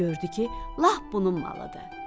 Gördü ki, lap bunun malıdır.